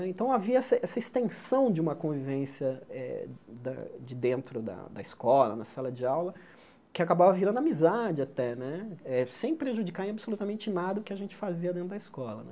Então havia essa essa extensão de uma convivência eh da de dentro da da escola, na sala de aula, que acabava virando amizade até, sem prejudicar em absolutamente nada o que a gente fazia dentro da escola né.